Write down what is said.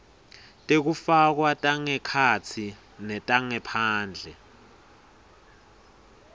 tekufakwa tangekhatsi netangephandle